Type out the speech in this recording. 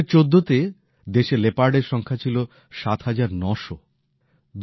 ২০১৪ তে দেশে লেপার্ড এর সংখ্যা প্রায় ৭৯০০ ছিল